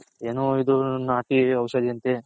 ಏನೋ ಇದು ನಾಟಿ ಔಷದಿ ಅಂತೆ